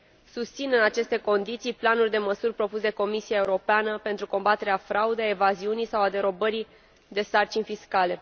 Susțin, în aceste condiții, planul de măsuri propus de Comisia Europeană pentru combaterea fraudei, a evaziunii sau a derobării de sarcini fiscale.